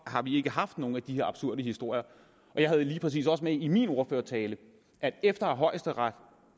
har vi ikke haft nogen af de her absurde historier jeg havde lige præcis også med i min ordførertale at efter højesteret